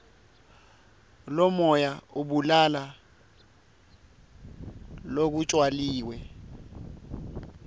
lomoya ubulala lokutjaliwe